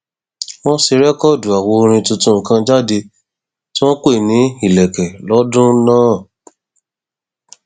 wọn ṣe rẹkọọdù àwo orin tuntun kan jáde tí wọn pè ní ìlẹkẹ lọdún náà